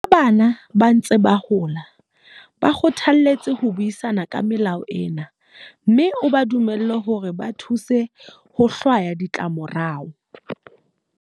Ha bana ba ntse ba hola, ba kgothaletse ho buisana ka melao ena mme o ba dumelle hore ba thuse ho hlwaya ditlamorao.